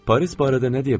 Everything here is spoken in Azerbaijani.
Paris barədə nə deyə bilərəm?